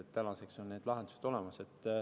Tänaseks on need lahendused olemas.